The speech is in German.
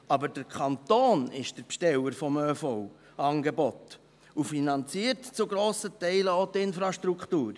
Aber der Kanton ist der Besteller des ÖV-Angebots und finanziert zu grossen Teilen auch die Infrastruktur.